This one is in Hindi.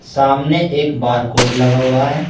सामने एक बारकोड लगा हुआ है।